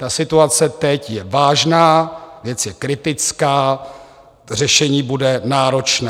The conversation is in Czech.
Ta situace teď je vážná, věc je kritická, řešení bude náročné.